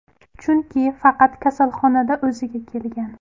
Chunki faqat kasalxonada o‘ziga kelgan.